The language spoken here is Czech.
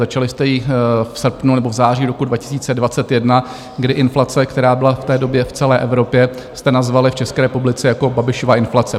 Začali jste ji v srpnu nebo v září roku 2021, kdy inflaci, která byla v té době v celé Evropě, jste nazvali v České republice jako Babišova inflace.